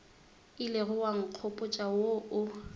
ilego wa nkgopotša wo o